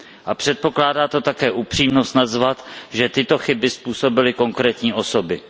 A předpokládá to také upřímnost přiznat, že tyto chyby způsobily konkrétní osoby.